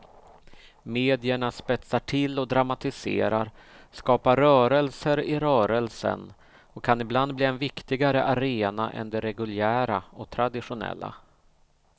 Medierna spetsar till och dramatiserar, skapar rörelser i rörelsen och kan ibland bli en viktigare arena än de reguljära och traditionella.